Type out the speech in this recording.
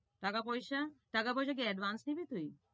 টাকা-পয়সা, টাকা-পয়সা কি advance নিবি তুই?